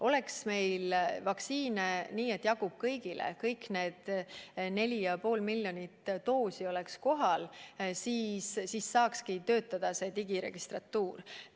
Oleks meil vaktsiine nii palju, et jagub kõigile, kui kõik need 4,5 miljonit doosi oleks kohal, siis saakski digiregistratuur töötada.